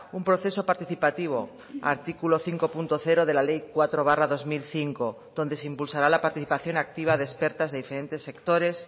un proceso participativo artículo cinco punto cero de la ley cuatro barra dos mil cinco donde se impulsará la participación activa de expertas de diferentes sectores